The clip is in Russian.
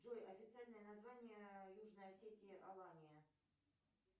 джой официальное название южной осетии алания